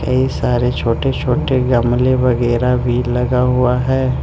कई सारे छोटे छोटे गमले वगैरा भी लगा हुआ है।